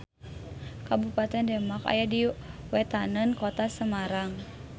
Kabupaten Demak aya di wetaneun Kota Semarang.